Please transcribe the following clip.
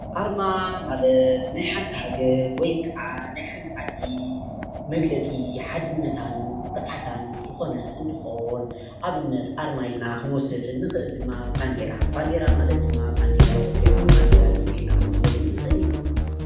ኣርማ ማለት ናይ ሓንቲ ሃገር ወይ ከዓ ናይ ሓንቲ ዓዲ መግለፂ ሓድነታን ኩርዓታን ዝኾነ ክንትኾን ኣብነት ኣርማ ኢልና ኽንወድ ንኽእል ድማ ባንዴራ - ባንዴራ ማለት ድማ ባንዴራ ኢትዮጲያ ባንዴራ ግብፂ ኢልና እዉን ክንወስዶም ንኽእል ኢና ።